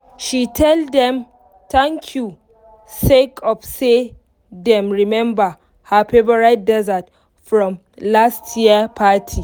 she tell dem thank you sake of say dem remember her favourite dessert from last year party